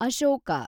Ashoka